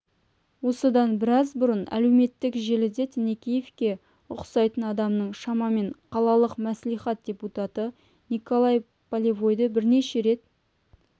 осыдан біраз бұрын әлеуметтік желіде тінікеевке ұқсайтын адамның шамамен қалалық маслихат депутаты николай полевойды бірнеше рет